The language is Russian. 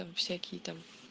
всякие там